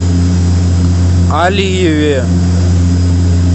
алиеве